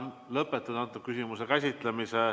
Lõpetan selle küsimuse käsitlemise.